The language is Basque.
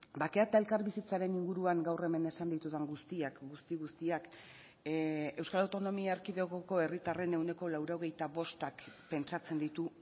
bakea eta elkarbizitzaren inguruan gaur hemen esan ditudan guztiak guzti guztiak euskal autonomia erkidegoko herritarren ehuneko laurogeita bostak pentsatzen ditu